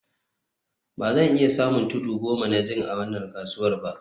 Ba zan iya samun tudu goma na zinc a wannan kasuwa ba